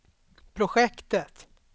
projektet